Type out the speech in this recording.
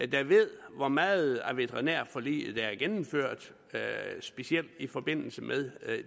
der ved hvor meget af veterinærforliget der er gennemført specielt i forbindelse med